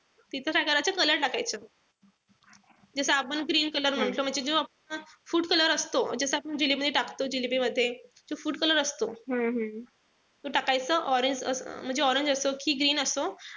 तिथं काय करायचं color टाकायचं. जस आपण green color म्हणतो म्हणजे जो आपला food color असतो. जसा आपण जिलेबी मध्ये टाकतो जिलेबीमध्ये. जो food color असतो तो टाकायचा. Orange म्हणजे orange असो कि green असो.